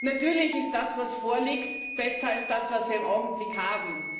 Natürlich ist das, was vorliegt, besser als das, was wir im Augenblick haben.